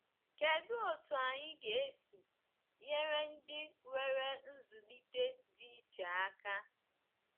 Kedụ otú anyị ga-esi nyere ndị nwere nzụlite dị iche aka?